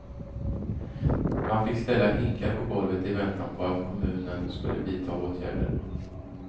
Man fick ställa hinkar på golvet i väntan på att kommunen skulle vidta åtgärder.